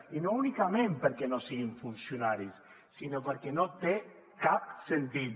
i no únicament perquè no siguin funcionaris sinó perquè no té cap sentit